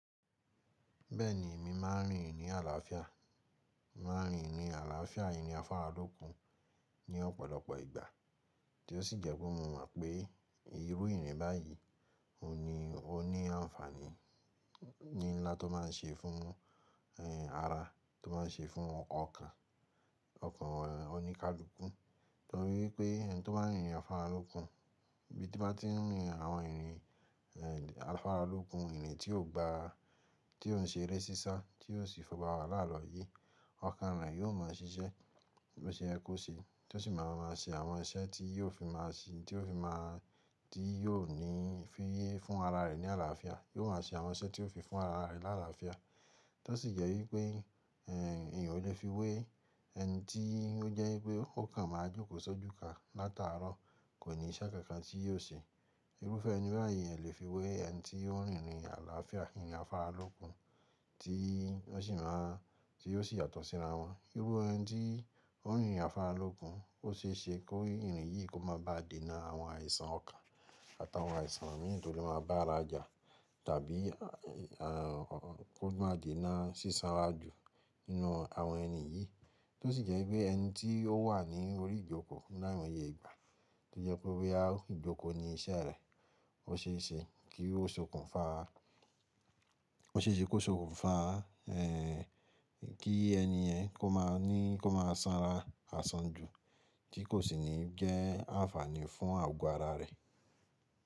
Bẹ́ẹ̀ni, èmi máa n rin ìrìn àlàáfíà, máa n rin ìrìn àlàáfíà ìrìn afáralókun ní ọ̀pọ̀lọpọ̀ ìgbà tí ó sì jẹ́ pé mo mọ̀ pé irú ìrìn báyìí o ni ó ní àǹfààní ní ńlá tó máa n ṣe fún ara, tó máa n ṣe fún ọkàn ọkàn oníkálukú. Nítorí pé ẹni tó bá n rin ìrìn afáralókun, ibí to bá ti n rin àwọn ìrìn afáralókun, ìrìn tí ò ń gba ara, tí ò ń ṣe eré sísá tí yóò sì fi bá wa láàlọ́ yìí, ọkàn rẹ yóò ma ṣiṣẹ́ bí ó ṣe yẹ ko ṣe tó sì máa máa ṣe àwọn iṣẹ́ tí yóò fi máa ṣe, tí yóò fi máa, tí yóò ní ìfiyé fún ara rẹ̀ ní àlàáfíà. Yóò ma ṣe àwọn iṣẹ́ tí ó fi fún ara rẹ̀ ní àlàáfíà tó sì jẹ́ wípé ènìyàn o lè fi wé ẹni tí ó jẹ́ wípé o kàn máa jókòó sójú ka látàárọ̀ kò ní iṣẹ́ kankan tí yóò ṣe. Irúfẹ́ ẹni báyìí èèyàn o lè fi wé ẹni tí ó n rin ìrìn àlàáfíà ìrìn afáralókun tí ó sì máa, tí ó sì yàtọ̀ síra wọn. Irú ẹni tí ó n rin ìrìn afáralókun, ó ṣeéṣe kó ìrìn yìí kó má ba à dènà àwọn àìsàn ọkàn àtàwọn àìsàn mìíràn tí ó lè máa bá ara jà tàbí kó má dènà sísanra jù nínú àwọn ẹni yìí tó sì jẹ́ wípé ẹni tí ó wà ní orí ìjókòó láìmọye ìgbà tí ó jẹ́ wípé á ìjókòó ni iṣẹ́ rẹ, ó ṣeéṣe kí ó sokùn fa, ó ṣe é ṣe kó sokùn fa kí ẹni yẹn kó máa ní, kó máa sanra àsán ju tí kò sì ní jẹ́ àǹfààní fún àgọ́ ara rẹ̀.